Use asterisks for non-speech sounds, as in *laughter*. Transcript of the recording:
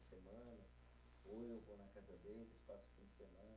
*unintelligible* Ou eu vou na casa deles, passo o fim de semana.